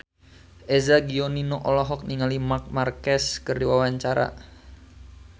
Eza Gionino olohok ningali Marc Marquez keur diwawancara